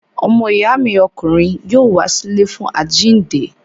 Ọmọ ìyá mi ọkùnrin yóò wá sí ilé fún àjíǹde.